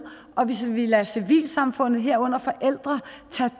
og hvis vi lader civilsamfundet herunder forældre tage